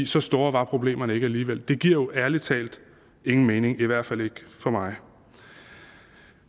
så store var problemerne ikke alligevel det giver jo ærlig talt ingen mening i hvert fald ikke for mig